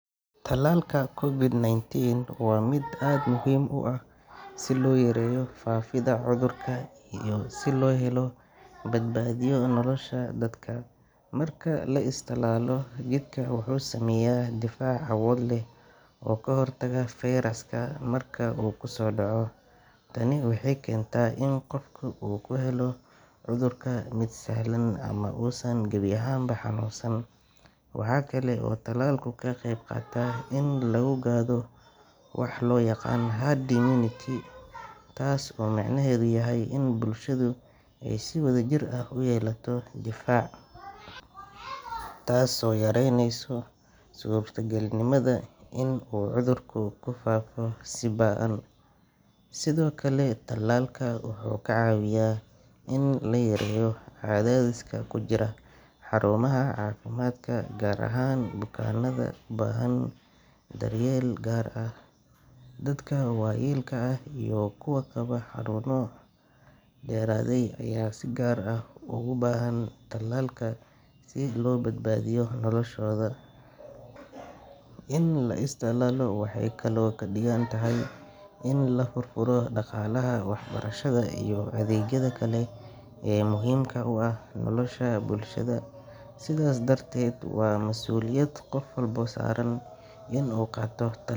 Talaalka COVID-nineteen waa mid aad muhiim u ah si loo yareeyo faafidda cudurka iyo si loo badbaadiyo nolosha dadka. Marka la is talaalo, jidhka wuxuu sameeyaa difaac awood leh oo ka hortaga fayraska marka uu kusoo dhaco. Tani waxay keentaa in qofka uu ka helo cudurka mid sahlan ama uusan gebi ahaanba xanuunsan. Waxa kale oo talaalku ka qayb qaataa in la gaadho waxa loo yaqaan herd immunity, taas oo macnaheedu yahay in bulshadu ay si wadajir ah u yeelato difaac, taasoo yaraynaysa suurtagalnimada inuu cudurku ku faafo si ba’an. Sidoo kale, talaalka wuxuu ka caawiyaa in la yareeyo cadaadiska ku jira xarumaha caafimaadka, gaar ahaan bukaanada u baahan daryeel gaar ah. Dadka waayeelka ah iyo kuwa qaba xanuuno daba dheeraaday ayaa si gaar ah ugu baahan talaalka si loo badbaadiyo noloshooda. In la is talaalo waxay kaloo ka dhigan tahay in la furfuro dhaqaalaha, waxbarashada iyo adeegyada kale ee muhiimka u ah nolosha bulshada. Sidaas darteed, waa mas'uuliyad qof walba saaran inuu qaato ta.